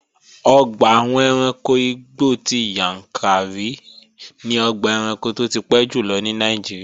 Ọgbà àwọn ẹranko igbó ti Yàǹkàrí ni ọgbà ẹranko tó ti pẹ́ jùlọ ní Nàìjíríà